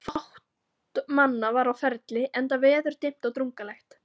Fátt manna var á ferli, enda veður dimmt og drungalegt.